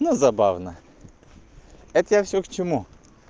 но забавно это я всё к чему